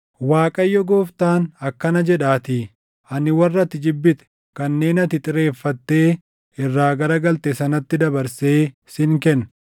“ Waaqayyo Gooftaan akkana jedhaatii: Ani warra ati jibbite, kanneen ati xireeffattee irraa garagalte sanatti dabarsee sin kenna.